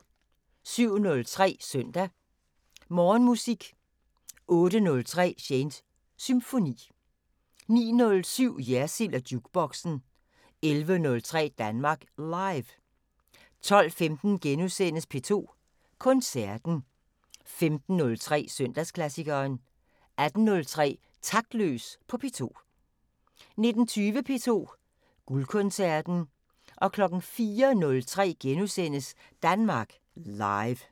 07:03: Søndag Morgenmusik 08:03: Shanes Symfoni 09:07: Jersild & Jukeboxen 11:03: Danmark Live 12:15: P2 Koncerten * 15:03: Søndagsklassikeren 18:03: Taktløs på P2 19:20: P2 Guldkoncerten 04:03: Danmark Live *